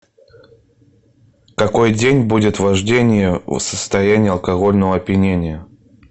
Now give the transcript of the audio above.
какой день будет вождение в состоянии алкогольного опьянения